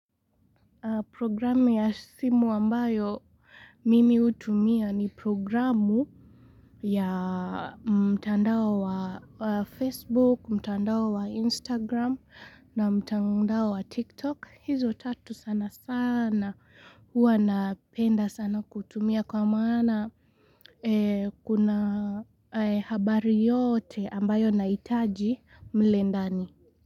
Programme ya simu ambayo mimi hutumia ni programu ya mtandao wa Facebook, mtandao wa Instagram na mtandao wa TikTok. Hizo tatu sana sana huwa napenda sana kutumia kwa maana kuna habari yote ambayo nahitaji mlendani.